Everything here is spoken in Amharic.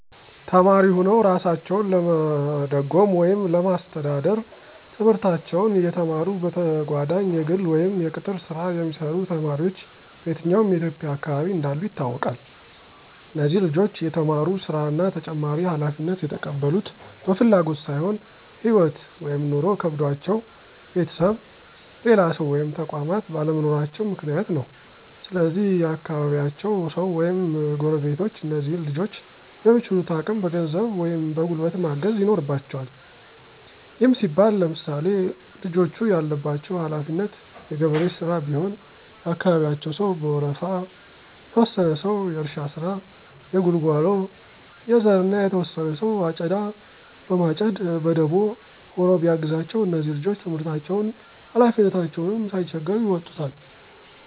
ተማሪ ሁነዉ እራሳቸዉን ለመደጎም ወይም ለማስተዳደር፤ ትምህርታቸዉን እየተማሩ በተጋጓዳኝ የግል ወይም የቅጥር ሥራ የሚሰሩ ተማሪዎች በየትኛዉም የኢትዬጵያ አካባቢ እንዳሉ ይታወቃል። እነዚህ ልጆች እየተማሩ ሥራ እና ተጨማሪ ሀላፊነት የተቀበሉት በፍላጎት ሳይሆን ህይወት (ኑሮ) ከብዷቸዉ ቤተሰብ፣ ሌላ ሰዉ ወይም ተቋማት ባለመኖራቸዉ ምክንያት ነው። ስለዚህ የአካባቢያቸዉ ሰዉ ወይም ጎረቤቶች እነዚህን ልጆች በሚችሉት አቅም በገንዘብ ወይም በጉልበት ማገዝ ይኖርበቸዋል። ይህም ሲባል ለምሳሌ፦ ልጆቹ ያለባቸው ሀለፊነት የገበሬ ሥራ ቢሆን የአካባቢያቸው ሰዉ በወረፋ፤ የተወሰነ ሰዉ የእርሻ ስራ፣ የጉልጓሎ፣ የዘር እና የተወሰነ ሰዉ አጨዳ በማጨድ በደቦ ሆኖ ቢያግዛቸዉ እነዚህ ልጆች ትምህርታቸዉንም ሀላፊነታቸዉንም ሳይቸገሩ ይወጡታል።